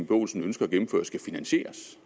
olsen ønsker gennemført skal finansieres